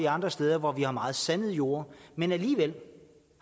andre steder hvor der er meget sandede jorde men alligevel